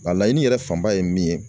Nka laɲini yɛrɛ fanba ye min ye